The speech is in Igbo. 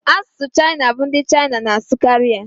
Asụsụ Chaịna bụ ndị Chaịna n'asụkari ya